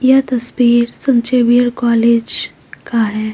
यह तस्वीर saint Xavier college का है।